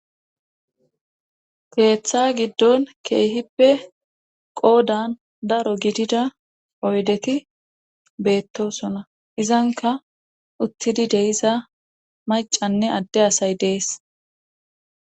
Keeththa giddon keehippe qoodan daro gidida oydeti beettosona izanka uttidi deyiza macanne adde asay dees.